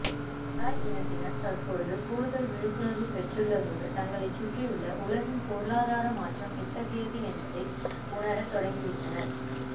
Malay இனத்தினர் தற்போது கூடுதல் விழிப்புணர்வு பெற்றுள்ளதோடு தங்களைச் சுற்றியுள்ள உலகின் பொருளாதார மாற்றம் எத்தகையது என்பதையும் உணர தொடங்கிவிட்டனர்